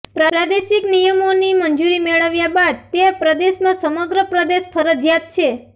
પ્રાદેશિક નિયમનો ની મંજૂરી મેળવ્યા બાદ તે પ્રદેશમાં સમગ્ર પ્રદેશ ફરજિયાત છે